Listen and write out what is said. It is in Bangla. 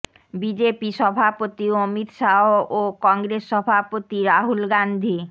বিজেপি সভাপতি অমিত শাহ ও কংগ্রেস সভাপতি রাহুল গাান্ধী